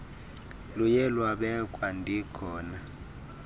luye lwabekwa ndikhona